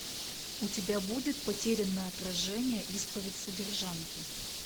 у тебя будет потерянное отражение исповедь содержанки